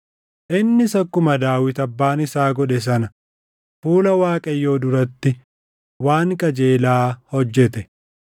Innis akkuma Daawit abbaan isaa godhe sana fuula Waaqayyoo duratti waan qajeelaa hojjete.